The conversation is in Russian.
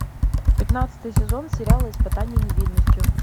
пятнадцатый сезон сериала испытание невинностью